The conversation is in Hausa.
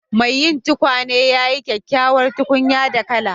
Mai yin tukwane ya yi kyakkyawar tukunya da laka.